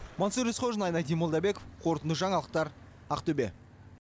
мансұр есқожин айнадин молдабеков қорытынды жаңалықтар ақтөбе